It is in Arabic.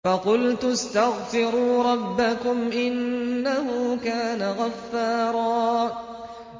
فَقُلْتُ اسْتَغْفِرُوا رَبَّكُمْ إِنَّهُ كَانَ غَفَّارًا